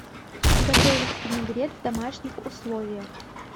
готовить винегрет в домашних условиях